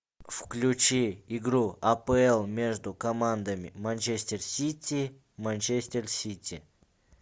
включи игру апл между командами манчестер сити манчестер сити